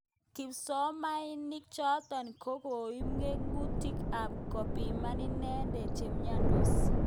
Kipsomanink chotok kokiib ngngunyek ak kopiman inendet chemnyendos.